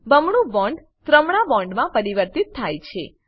બમણું બોન્ડ ત્રમણા બોન્ડમાં પરિવર્તિત થાય છે